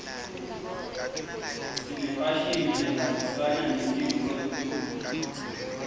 sinefashini lehambisana nesimo seltulu